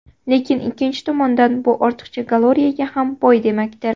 Lekin ikkinchi tomondan, bu ortiqcha kaloriyaga ham boy demakdir.